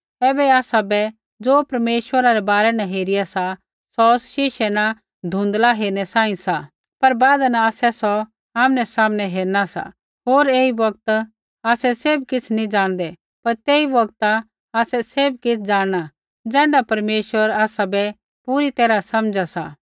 ऐबै आसाबै ज़ो परमेश्वरा रै बारै न हेरिया सा सौ शीशे न धुँधला हेरणै सांही सा पर बादा न आसै सौ आमनै सामनै हेरना सा होर ऐई बौगता आसै सैभ किछ़ नैंई ज़ाणदै पर तेई बौगता आसै सैभ किछ़ ज़ाणना ज़ैण्ढा परमेश्वर आसाबै पूरी तैरहा समझा सा